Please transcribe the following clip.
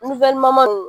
nunnu